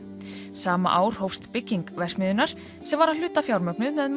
sama ár hófst bygging verksmiðjunnar sem var að hluta fjármögnuð með